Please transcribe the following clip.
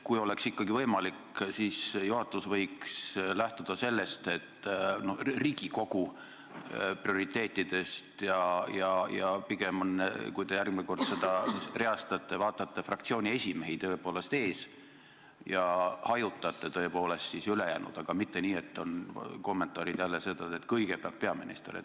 Kui oleks ikkagi võimalik, siis juhatus võiks lähtuda Riigikogu prioriteetidest ja pigem vaadata, kui te järgmine kord küsijaid reastate, et fraktsioonide esimehed oleksid ees ja ülejäänud tõepoolest hajutatud, aga mitte nii, et jälle kõlavad kommentaarid, et kõigepealt vastab peaminister.